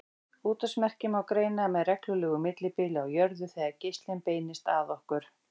Útvarpsmerkin má greina með reglulegu millibili á jörðu þegar geislinn beinist að okkur.